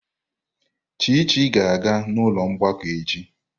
Chichi ga-aga n'ụlọ mgbakọ echi.